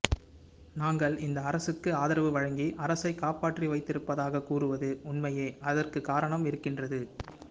நாங்கள் இந்த அரசுக்கு ஆதரவு வழங்கி அரசைக் காப்பாற்றி வைத்திருப்பதாகக் கூறுவது உண்மையே அதற்குக் காரணம் இருக்கின்றது